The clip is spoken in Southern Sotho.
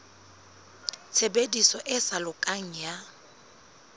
tshebediso e sa lokang ya